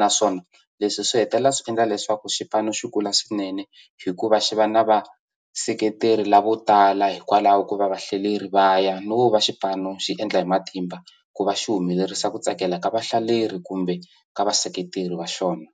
naswona leswi swi hetelela swi endla leswaku xipano xi kula swinene hikuva xi va na vaseketeri lavo tala hikwalaho ko va vahlaleri va ya no va xipano xi endla hi matimba ku va xi humelerisa ku tsakela ka vahlaleri kumbe ka vaseketeri va xona.